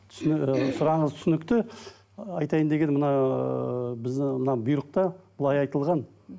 і сұрағыңыз түсінікті айтайын дегенім мына ыыы біздің мына бұйрықта былай айтылған мхм